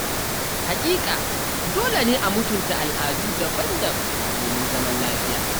Haƙiƙa Dole ne a mutunta al’adu daban-daban domin zaman lafiya.